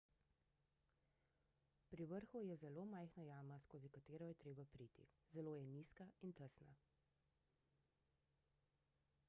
pri vrhu je zelo majhna jama skozi katero je treba priti zelo je nizka in tesna